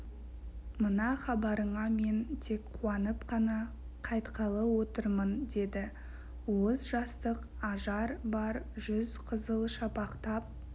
мына хабарыңа мен тек қуанып қана қайтқалы отырмын деді уыз жастық ажар бар жүз қызыл шапақтап